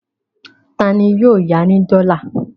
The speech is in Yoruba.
Ta ni yóò ya ní dọ́là?